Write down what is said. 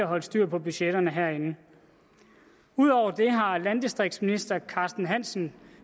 holder styr på budgetterne herinde ud over det har landdistriktsministeren